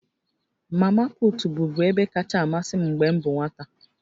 Mamaput bụbu ebe kacha amasị m mgbe m bụ nwata